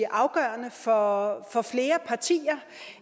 afgørende for for flere partier